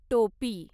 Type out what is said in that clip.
टोपी